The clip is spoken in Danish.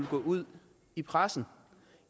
gå ud i pressen